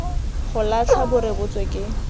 go latlha bo rebotswe ke